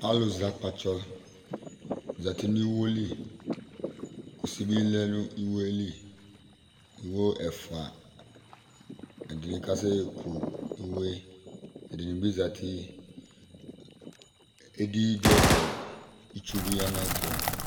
Alʋzɛ akpatsɔ zǝtɩ nʋ iwo li Kusi bɩ lɛ nʋ iwo yɛ li Iwo ɛfʋa Ɛdɩnɩ kasekʋ iwo yɛ Edɩnɩ bɩ zǝtɩ Edi dʋ ɛfɛ, itsu bɩ ya nʋ ayʋ ɛtʋ